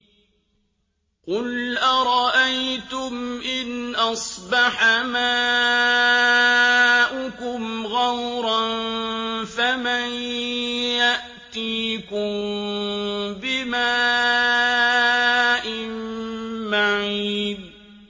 قُلْ أَرَأَيْتُمْ إِنْ أَصْبَحَ مَاؤُكُمْ غَوْرًا فَمَن يَأْتِيكُم بِمَاءٍ مَّعِينٍ